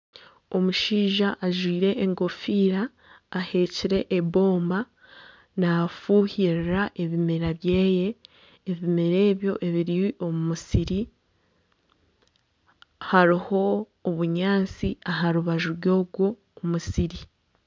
Omushaija ajwire enkofiira ahekire ebomba nafuhirira ebimera byeye. Ebimera ebyo ebiri omu musiri. Hariho obunyaatsi aharubaju rw'ogo musiri.